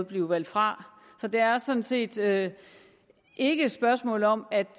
blive valgt fra så det er sådan set ikke et spørgsmål om at